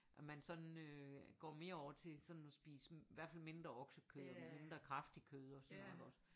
At man sådan øh går mere over til sådan at spise hvert fald mindre oksekød og mindre kraftigt kød og sådan noget ik også